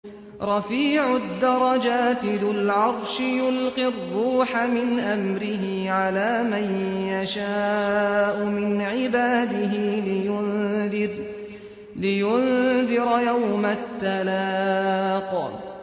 رَفِيعُ الدَّرَجَاتِ ذُو الْعَرْشِ يُلْقِي الرُّوحَ مِنْ أَمْرِهِ عَلَىٰ مَن يَشَاءُ مِنْ عِبَادِهِ لِيُنذِرَ يَوْمَ التَّلَاقِ